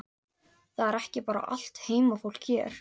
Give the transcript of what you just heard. Þetta er ekki bara allt heimafólk hér?